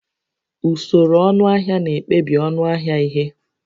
Usoro ọnụahịa na-ekpebi ọnụ ahịa ihe